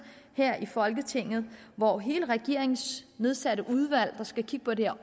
her i folketinget hvor hele regeringens nedsatte udvalg der skal kigge på det her